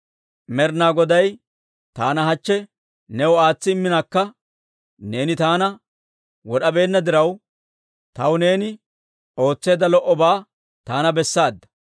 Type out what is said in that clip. Med'inaa Goday taana hachche new aatsi imminakka neeni taana wod'abeenna diraw, taw neeni ootseedda lo"obaa taana bessaada.